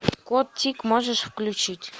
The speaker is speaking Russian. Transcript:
кот тик можешь включить